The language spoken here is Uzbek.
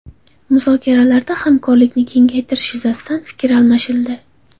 Muzokaralarda hamkorlikni kengaytirish yuzasidan fikr almashildi.